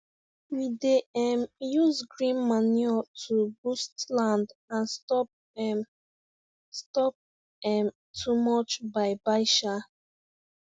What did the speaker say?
we dey um use green manure to boost land and stop um stop um too much buy buy um